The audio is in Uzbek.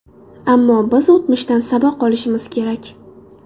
Ammo biz o‘tmishdan saboq olishimiz kerak.